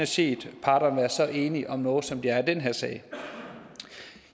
set parterne være så enige om noget som de er i den her sag